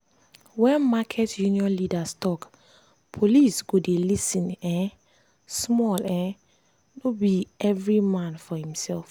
when market union leaders talk police go dey lis ten um small um no be every man for himself.